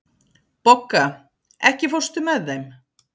Bogga, ekki fórstu með þeim?